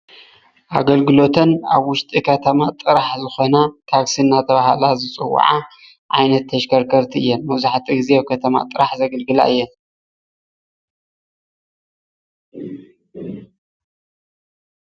ኣገልግሎተን ኣብ ውሽጢ ከተማ ጥራሕ ዝኮና ታክሲ እናተባሃላ ዝፅወዓ ዓይነት ተሽከርከርቲ እየን፡፡ መብዛሕትኡ ግዜ ኣብ ከተማ ጥራሕ ዘገልግላ እየን፡፡